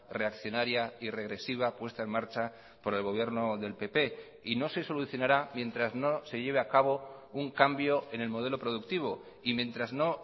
reaccionaria y regresiva puesta en marcha por el gobierno del pp y no se solucionará mientras no se lleve a cabo un cambio en el modelo productivo y mientras no